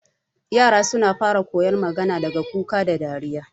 yara suna fara koyon magana daga kuka da dariya